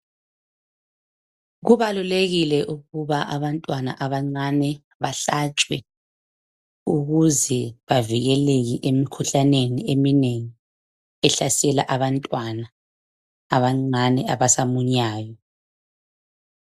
Kubalulekile ukuba abantwana abancane bahlatshwe ukuze bavikeleke emikhuhlaneni eminengi ehlasela abantwana abancane abasamunyayo.